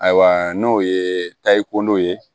Ayiwa n'o ye tariko ye